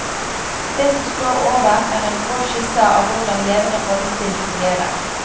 Det som står over er en grov skisse av hvordan levende rollespill fungerer.